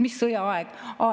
Mis sõjaaeg?